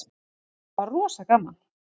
Þetta var rosa gaman.